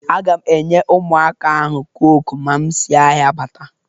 A ga m enye ụmụaka ahụ cọke ma m si ahia bata